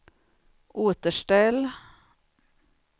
återställ